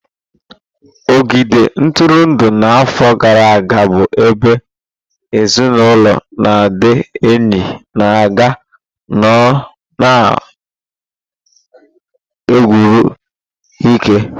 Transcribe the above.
Ogige ntụrụndụ na afọ gara aga bu ebe ezinụlọ na ndị enyi na-aga ịnọ na gburugburu eke.